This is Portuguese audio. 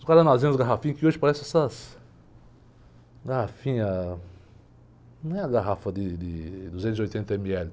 Os guaranazinhos, as garrafinhas, que hoje parecem essas... Garrafinha... Não é a garrafa de de duzentos e oitenta ml.